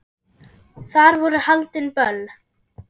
Þar voru haldin böll.